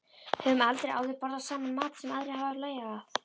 Höfum aldrei áður borðað saman mat sem aðrir hafa lagað.